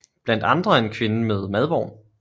Blandt andre en kvinde med en madvogn